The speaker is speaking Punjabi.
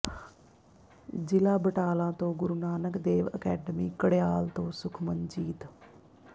ਜਿਲ੍ਹਾ ਬਟਾਲਾ ਤੋ ਗੁਰੂ ਨਾਨਕ ਦੇਵ ਅਕੈਡਮੀ ਕੜਿਆਲ ਤੋਂ ਸੁਖਮਨਜੀਤ